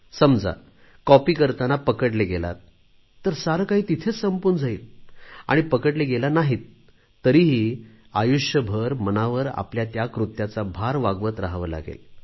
समजा कॉपी करताना पकडले गेलात तर सारे काही तिथेच संपून जाईल आणि पकडले गेला नाहीत तरीही आयुष्यभर मनावर आपल्या त्या कृत्याचा भार वाहवत रहावे लागेल